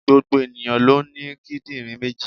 Gbogbo ènìyàn ló ní kídìnrín méjì